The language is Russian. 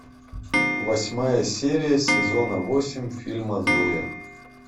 восьмая серия сезона восемь фильма зоя